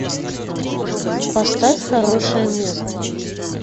поставь хорошее место